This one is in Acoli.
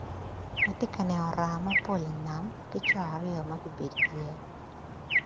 Atye ka neno raa mapol i nam ki co aryo magubedo i yea.